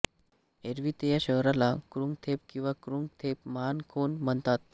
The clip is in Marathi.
एरवी ते या शहराला क्रुंग थेप किंवा क्रुंग थेप महानखोन म्हणतात